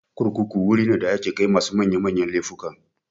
Kurkuku wuri ne da ake kai masu manya manyan laifuka.